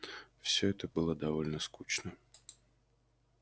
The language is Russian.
все это было довольно скучно